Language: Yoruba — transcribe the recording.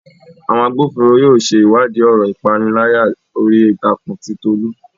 Àwọn agbófinró yóò ṣe ìwádìí ọ̀rọ̀ ìpániláyà orí ìtàkùn ti Tolu